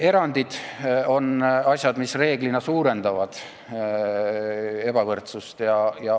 Erandid on asjad, mis reeglina suurendavad ebavõrdsust.